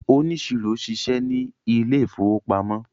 oniṣiro ṣiṣẹ ní Ilé ìfowópamọ́